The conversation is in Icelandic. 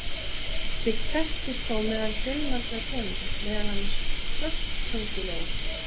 Slíkt þekkist þó meðal fjölmargra tegunda, meðal annars krossköngulóa.